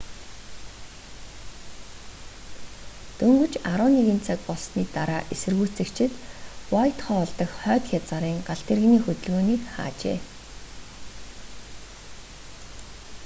дөнгөж 11:00 цаг болсны дараа эсэргүүцэгчид уайтхолл дах хойд хязгаарын галт тэрэгний хөдөлгөөнийг хаажээ